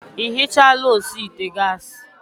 Ị ihichala osi ite gas?